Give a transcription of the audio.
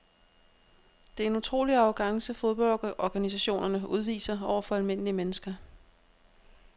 Det er en utrolig arrogance fodboldorganisationerne udviser over for almindelige mennesker.